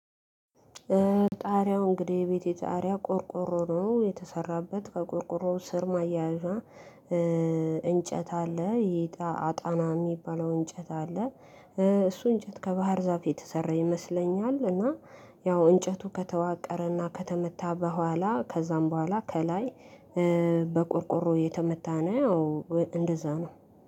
ጣሪያው እንግዲህ የቤቴ ጣሪያ ቆርቆሮ ነው የተሰራበት ከቆርቆሮው ስር ማያያዣ እንጨት አለ ይጣ አጣና የሚባለው እንጨት አለ፤ እሱ እንጨት ከባህር ዛፍ የተሰራ ይመስለኛል፤ እና ያው እንጨቱ ከተዋቀረና ከተመታ በኋላ ከዛም በኋላ ከላይ በቆርቆሮ እየተመታ ነው እንደዛ ነው።